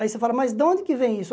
Aí você fala, mas de onde que vem isso?